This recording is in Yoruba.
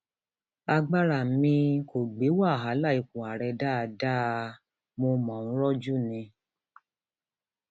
agbára mi um kò gbé wàhálà ipò àárẹ dáadáa um mo mò ń rojú ni